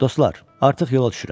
Dostlar, artıq yola düşürəm.